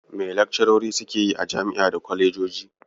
Me lakcarori suke yi a jam'i da kwalejoji?